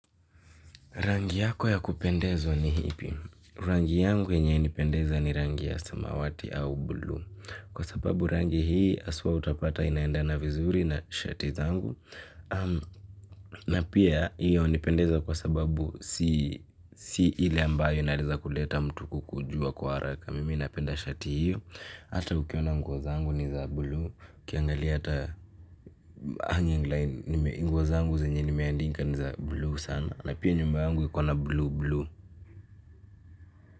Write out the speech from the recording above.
Rangi yako ya kupendezwa ni ipi? Rangi yangu yenye inanipendeza ni rangi ya samawati au bluu. Kwa sababu rangi hii haswa utapata inaendana vizuri na shati zangu. Na pia hiyo hunipendeza kwa sababu si si ile ambayo inaeleza kuleta mtu kukujua kwa haraka. Mimi napenda shati hiyo. Hata ukiona nguo za angu ni za blue. Ukiangalia hata hangiing line nguo zangu zenye nimeanika ni za bluu sana. Na pia nyumba yangu iko na blue, blue.